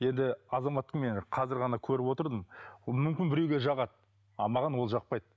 енді азаматты мен қазір ғана көріп отырдым ол мүмкін біреуге жағады ал маған ол жақпайды